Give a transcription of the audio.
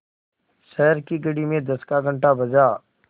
शहर की घड़ी में दस का घण्टा बजा